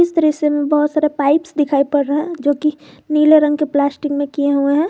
दृश्य से बहुत सारे पाइप्स दिखाई पड़ रहा है जोकि नीले रंग के प्लास्टिक में किए हुए हैं।